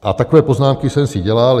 A takové poznámky jsem si dělal.